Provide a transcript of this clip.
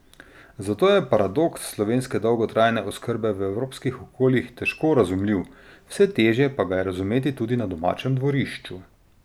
Zato je paradoks slovenske dolgotrajne oskrbe v evropskih okoljih težko razumljiv, vse težje pa ga je razumeti tudi na domačem dvorišču.